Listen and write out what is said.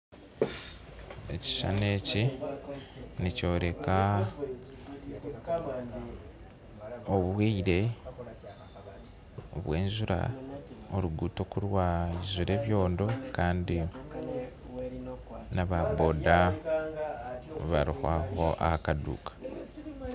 Ekishushani eki nikyoreka obwire bw'enjura aruguuto kurwijura ebyondo kandi na boda ku bari aho aha kaduuka